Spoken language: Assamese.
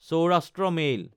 চৌৰাষ্ট্ৰ মেইল